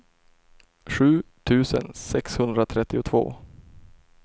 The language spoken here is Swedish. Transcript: sju tusen sexhundratrettiotvå